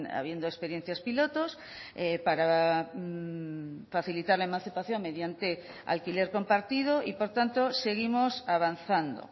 habiendo experiencias pilotos para facilitar la emancipación mediante alquiler compartido y por tanto seguimos avanzando